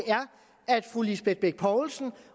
er fru lisbeth bech poulsen